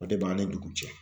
O de b'an ni dugu cɛ.